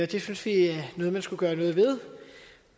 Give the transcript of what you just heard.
det synes vi er noget man skulle gøre noget ved